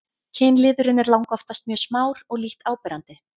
kynliðurinn er langoftast mjög smár og lítt áberandi